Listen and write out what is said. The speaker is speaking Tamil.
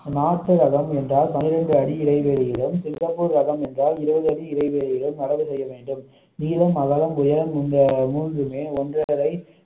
நாட்டு ரகம் என்றால் பன்னிரண்டு அடி இடைவெளியில் சிங்கப்பூர் ரகம் என்றால் இருபது அடி இடைவெளியில் நடவு செய்ய வேண்டும் நீளம், அகலம். உயரம் இந்த மூன்றுமே ஒன்றரை